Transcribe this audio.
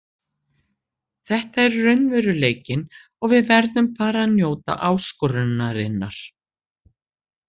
Þetta er raunveruleikinn og við verðum bara að njóta áskorunarinnar.